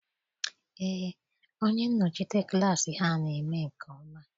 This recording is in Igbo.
Eé, onye nnọchite klassị ha na eme nke ọma.